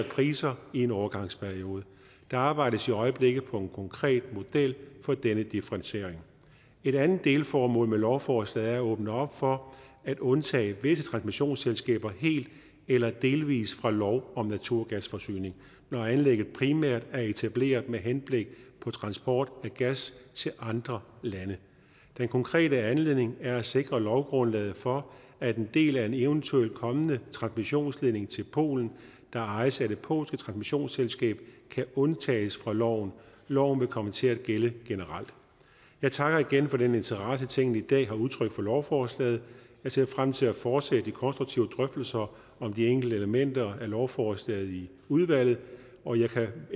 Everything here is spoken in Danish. priser i en overgangsperiode der arbejdes i øjeblikket på en konkret model for denne differentiering et andet delformål med lovforslaget er at åbne op for at undtage visse transmissionsselskaber helt eller delvist fra lov om naturgasforsyning når anlægget primært er etableret med henblik på transport af gas til andre lande den konkrete anledning er at sikre lovgrundlaget for at en del af en eventuelt kommende transmissionsledning til polen der ejes af det polske transmissionsselskab kan undtages fra loven loven vil komme til at gælde generelt jeg takker igen for den interesse tinget i dag har udtrykt for lovforslaget jeg ser frem til at fortsætte de konstruktive drøftelser om de enkelte elementer af lovforslaget i udvalget og jeg